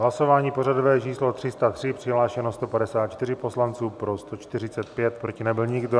Hlasování pořadové číslo 303, přihlášeno 154 poslanců, pro 145, proti nebyl nikdo.